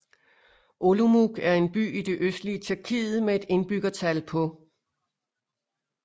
Olomouc er en by i det østlige Tjekkiet med et indbyggertal på